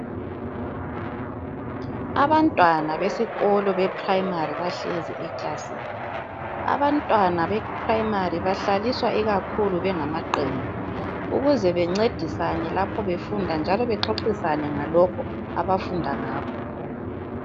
Abantwana besikolo beprayimari bahlezi eklasini. Abantwana beprayimari bahlaliswa ikakhulu bengamaqembu, ukuze bencedisane lapho befunda njalo bexoxisane ngalokho abafunda ngakho.